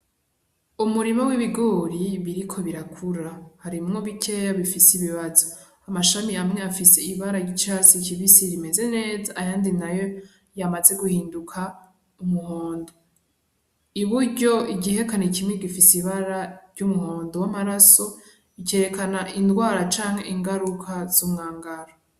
Umurima w'ibigori biriko birakura, harimwo bikeya bifise ibibazo. Amashami amwe afise ibara ry'icatsi kibisi rimeze neza, ayandi nayo yamaze guhinduka umuhondo. I buryo igihekane kimwe gifise ibara ry'umuhondo w'amaraso, cerekana ingwara canke ingaruka z'umwangara.